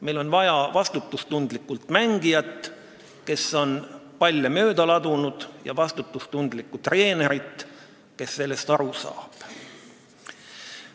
Meil on vaja vastutustundlikku mängijat, kes on mitu palli mööda visanud, ja vastutustundlikku treenerit, kes sellest aru saab.